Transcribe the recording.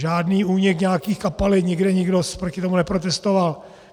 Žádný únik nějakých kapalin, nikde nikdo proti tomu neprotestoval.